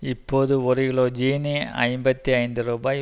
இப்போது ஒரு கிலோ சீனி ஐம்பத்தி ஐந்து ரூபாய்